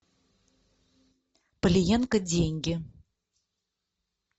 палиенко деньги